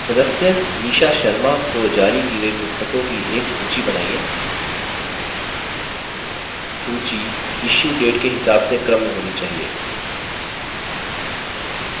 सदस्य nisha sharma को जारी कि गयी पुस्त्कों की एक सूची बनाइए